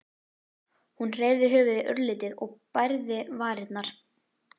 Hún hreyfði höfuðið örlítið og bærði varirnar.